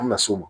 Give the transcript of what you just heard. An mi na s'o ma